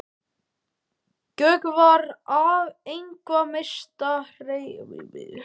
Gjögur var einhver mesta rekajörð í sýslunni.